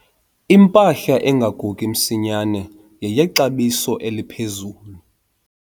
Impahla engagugi msinyane yeyexabiso eliphezulu.